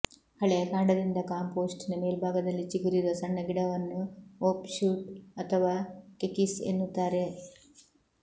ಹಳೆಯ ಕಾಂಡದಿಂದ ಕಂಪೋಸ್ಟಿನ ಮೇಲ್ಭಾಗದಲ್ಲಿ ಚಿಗುರಿರುವ ಸಣ್ಣ ಗಿಡವನ್ನು ಓಫ಼್ ಶೂಟ್ ಅಥವಾ ಕೆಕೀಸ್ ಎನ್ನುತ್ತಾರೆ